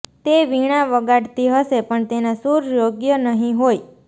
તે વીણા વગાડતી હશે પણ તેના સૂર યોગ્ય નહીં હોય